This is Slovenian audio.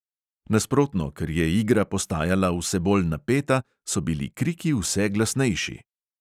Nasprotno, ker je igra postajala vse bolj napeta, so bili kriki vse glasnejši.